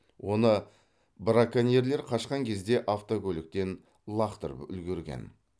оны браконьерлер қашқан кезде автокөліктен лақтырып үлгерген